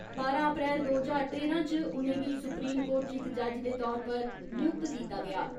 बारां अप्रैल दो ज्हारां तेरां इच उ'नेंगी सुप्रीम कोर्ट इच इक जज दे तौर उप्पर नियुक्त कीता गेआ।